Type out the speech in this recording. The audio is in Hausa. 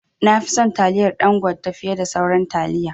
Nafi son taliyar Dangote fiye da sauran taliya